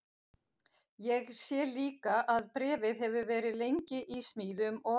Ég sé líka að bréfið hefur verið lengi í smíðum og